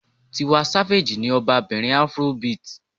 Tiwa Savage ni ọba bìnrin Afrobeat.